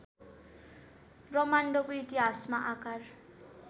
ब्रह्माण्डको इतिहासमा आकार